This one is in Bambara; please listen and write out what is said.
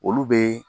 Olu bɛ